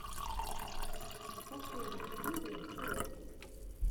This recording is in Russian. последняя серия тирэкс